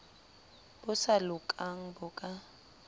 bo sa lokang bo ka